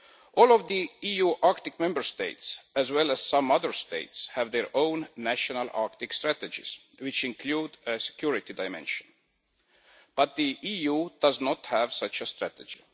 All of the EU Arctic Member States, as well as some other states, have their own national Arctic strategies, which include a security dimension, but the EU does not have such a strategy.